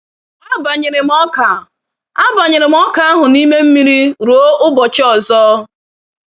Abanyere m ọka Abanyere m ọka ahu n'ime mmiri rue ụbọchị ọzọ.